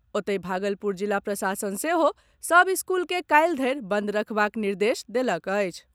ओतहि, भागलपुर जिला प्रशासन सेहो सभ स्कूल के काल्हि धरि बंद राखबाक निर्देश देलक अछि।